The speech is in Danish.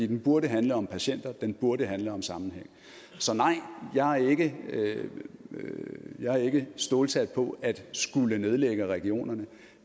den burde handle om patienter den burde handle om sammenhæng så nej jeg er ikke stålsat på at skulle nedlægge regionerne